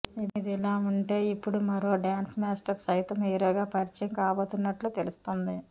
ఇదిలా ఉంటె ఇప్పుడు మరో డాన్స్ మాస్టర్ సైతం హీరోగా పరిచయం కాబోతున్నట్లు తెలుస్తుంది